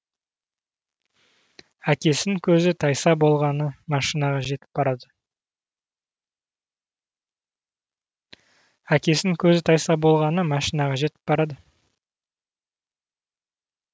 әкесін көзі тайса болғаны машинаға жетіп барады